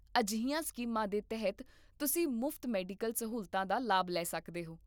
ਅਜਿਹੀਆਂ ਸਕੀਮਾਂ ਦੇ ਤਹਿਤ ਤੁਸੀਂ ਮੁਫਤ ਮੈਡੀਕਲ ਸਹੂਲਤਾਂ ਦਾ ਲਾਭ ਲੈ ਸਕਦੇ ਹੋ